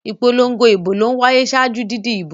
Ìpolongo ìbò ló ń wáyé ṣáájú didi ìbo.